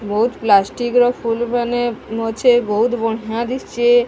ବହୁତ୍ ପ୍ଲାଷ୍ଟିକ ର ଫୁଲ ମାନେ ଅଛି ବହୁତ୍ ବଢ଼ିଆ ଦିଶୁଛି।